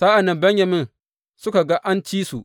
Sa’an nan Benyamin suka ga an ci su.